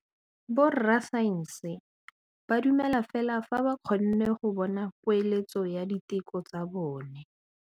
Borra saense ba dumela fela fa ba kgonne go bona poeletsô ya diteko tsa bone.